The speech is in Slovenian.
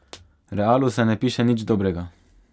Realu se ne piše nič dobrega!